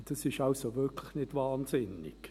Das ist also wirklich nicht wahnsinnig.